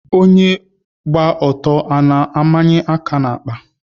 Onyé gba ọtọ a na-ámányé áká n'àkpà?